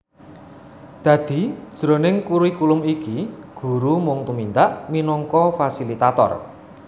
Dadi jroning kurikulum iki guru mung tumindak minangka fasilitator